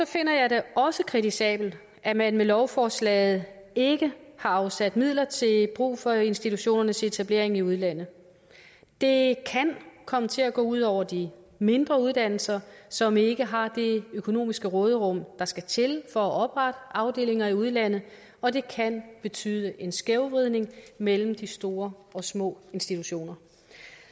finder jeg det også kritisabelt at man med lovforslaget ikke har afsat midler til brug for institutionernes etablering i udlandet det kan komme til at gå ud over de mindre uddannelser som ikke har det økonomiske råderum der skal til for at oprette afdelinger i udlandet og det kan betyde en skævvridning mellem de store og de små institutioner